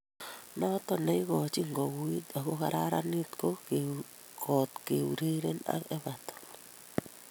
"Noto neigochin kouit ago kararanit kot keureren ak Everton".